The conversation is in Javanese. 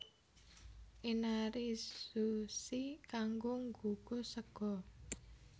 Inarizushi kanggo ngunggus sega